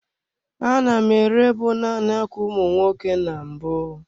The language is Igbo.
A na m ere bụ naanị ákwà ụmụ nwoke na mbụ.